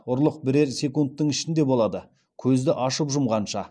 ұрлық бірер секундтың ішінде болады көзді ашып жұмғанша